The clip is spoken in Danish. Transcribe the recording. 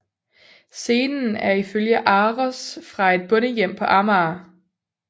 Scenen er ifølge ARoS fra et bondehjem på Amager